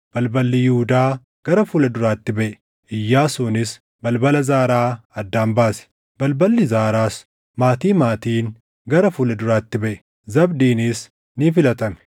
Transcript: Balballi Yihuudaa gara fuula duraatti baʼe; Iyyaasuunis balbala Zaaraa addaan baase. Balballi Zaaraas maatii maatiin gara fuula duraatti baʼe; Zabdiinis ni filatame.